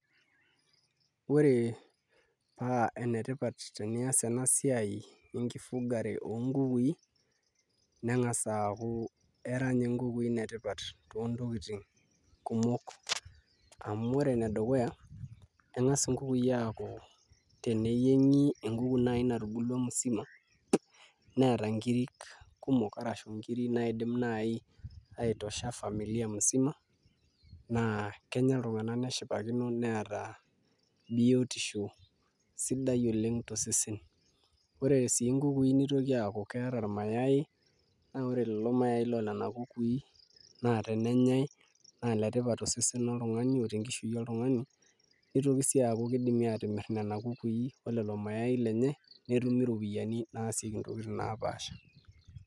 Ore paa enetipat paa sidai tenias ena siai enkifugare oonkukui neng'as aaku era inye nkukui inetipat toontokitin kumok amu ore enedukuya keng'as nkukui aaku teneyieng'i enkuku naai natubulua musima neeta nkiri kumok ashu nkiri naai naidim aitosha familia musima naa kenya iltung'anak neshipakino neeta biotisho sidai oleng' tosesen ore sii nkukui nitoki aaku keeta irmayaai naa ore lelo maayai le nena kukui naa tenenyai naa iletipat tosesen loltung'ani o tenkishui oltung'ani nitoki sii aaku kidimi aatimirr nena kukui o lelo mayai lenye netumi iropiyiani naasieki ntokitin naapaasha.